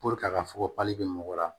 a ka fɔgɔji bɛ mɔgɔ la